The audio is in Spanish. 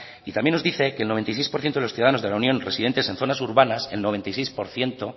y también nos dice que el noventa y seis por ciento de los ciudadanos de la unión residentes en zonas urbanas el noventa y seis por ciento